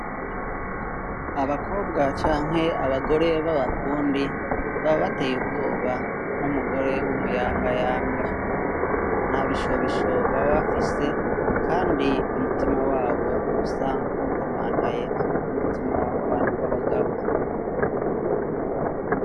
Abakobwa canke abagore b'abafundi baba bateye ubwoba nk'umugore w'umuyangayanga. Ntabishobisho baba. bafise kandi umutima wabo ub'usa nk'uwukomantaye nk'umutima w'abantu b'abagabo.